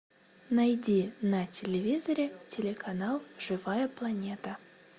найди на телевизоре телеканал живая планета